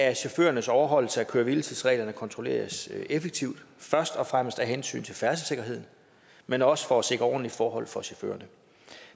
at chaufførernes overholdelse af køre hvile tids reglerne kontrolleres effektivt først og fremmest af hensyn til færdselssikkerheden men også for at sikre ordentlige forhold for chaufførerne